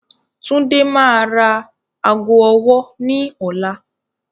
Tundé máa ra ago ọwọ́ ní ọ̀la.